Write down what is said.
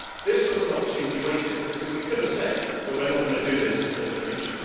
This was an opportunity wasted because we could have said that we are not going to do this in the future.